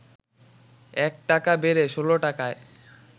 ১ টাকা বেড়ে ১৬ টাকায়